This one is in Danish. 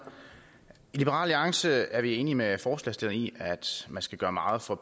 i liberal alliance er vi enige med forslagsstillerne i at man skal gøre meget for